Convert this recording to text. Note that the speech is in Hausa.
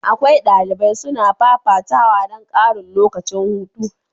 Akwai dalibai suna fafatawa don karin lokacin hutu.